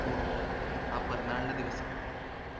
tour പോവ അഹ് പിറന്നാളിന്റെ ദിവസം